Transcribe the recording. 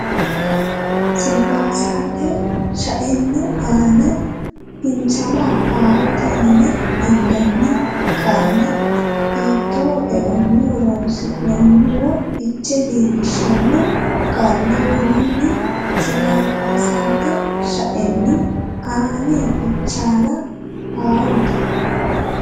Silabasete shaenni aane fichaalla haarote yine hendanni qaalla hiittoo eonni horonsi noonniro fiche leellishshanno qaalla worroonni Silabasete shaenni aane fichaalla haarote.